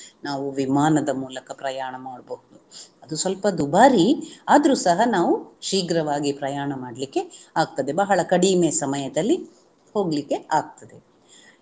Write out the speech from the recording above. ನಾವು ವಿಮಾನದ ಮೂಲಕ ಪ್ರಯಾಣ ಮಾಡ್ಬಹುದು. ಅದು ಸ್ವಲ್ಪ ದುಬಾರಿ ಆದ್ರು ಸಹ ನಾವು ಶೀಘ್ರವಾಗಿ ಪ್ರಯಾಣ ಮಾಡ್ಲಿಕ್ಕೆ ಆಗ್ತದೆ ಬಹಳ ಕಡಿಮೆ ಸಮಯದಲ್ಲಿ ಹೋಗ್ಲಿಕ್ಕೆ ಆಗ್ತದೆ